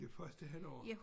Det første halvår